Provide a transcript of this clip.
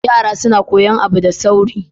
Yara suna koyi abu da sauri.